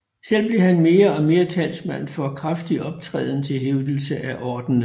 Selv blev han mere og mere talsmand for kraftig optræden til hævdelse af ordenen